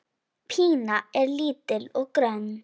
Pína er lítil og grönn.